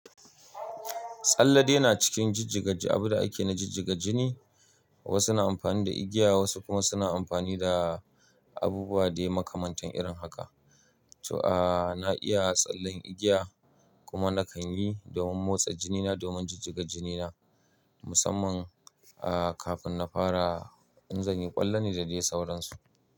Tsalle dai na cikin jijjiga abin da ake na jijjiga jini. Wasu na amfani da igiya wasu kuma suna amfani da abubuwa dai makamantan irin haka. To a na iya tsallen igiya kuma nakan yi domin motsa jinina domin jijjiga jinina musamman a kafin na fara in zani ƙwallon ne da dai sauransu.